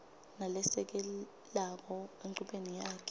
nalesekelako enchubeni yakhe